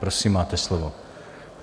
Prosím, máte slovo.